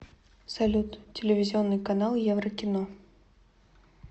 салют телевизионный канал еврокино